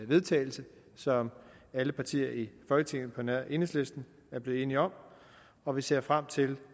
vedtagelse som alle partier i folketinget på nær enhedslisten er blevet enige om og vi ser frem til